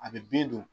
A bɛ bin don